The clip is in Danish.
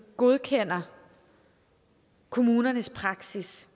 godkender kommunernes praksis